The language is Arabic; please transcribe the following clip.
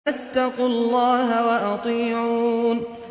فَاتَّقُوا اللَّهَ وَأَطِيعُونِ